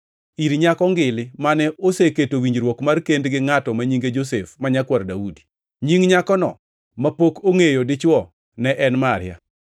ir nyako ngili, mane oseketo winjruok mar kend gi ngʼato ma nyinge Josef ma nyakwar Daudi. Nying nyakono mapok ongʼeyo dichwo ne en Maria.